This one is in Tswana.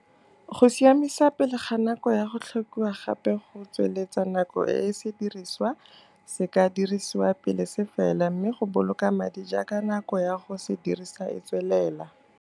Go siamisa pele ga nako ya go tlhokiwa gape go tsweletsa nako e sediriswa se ka dirisiwa pele se fela mme go boloka madi jaaka nako ya go se dirisa e tswelela.